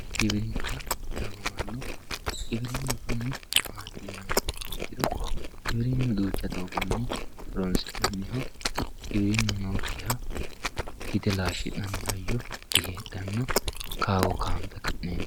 giwirinna yaamamanno giwirinnu kuni maati yiniha ikkiro giwirinnu duucha doogonni horonsi'nanniho giwirinnu nookkiha gige laashshi'nanni hayyo diheedhanno kaawo kaambe ka'neentinni....